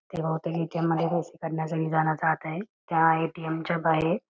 ते बहुतेक A. T. M. मध्ये पैसे काढण्यासाठी जात आहेत त्या ए. टी. एम. च्या बाहेर--